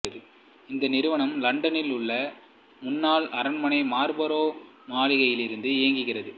இந்த நிறுவனம் இலண்டனில் உள்ள முன்னாள் அரண்மனை மார்ல்பரோ மாளிகையில் இருந்து இயங்குகிறது